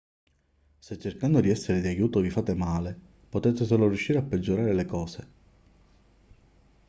se cercando di essere d'aiuto vi fate male potete solo riuscire a peggiorare le cose